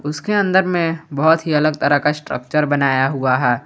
उसके अंदर में बहुत ही अलग तरह का स्ट्रक्चर बनाया हुआ है।